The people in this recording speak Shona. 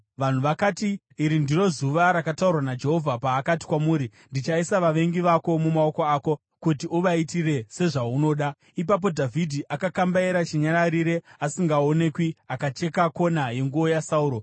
Vanhu vakati, “Iri ndiro zuva rakataurwa naJehovha paakati kwamuri, ‘Ndichaisa vavengi vako mumaoko ako kuti uvaitire sezvaunoda.’ ” Ipapo Dhavhidhi akakambaira chinyararire asingaonekwi akacheka kona yenguo yaSauro.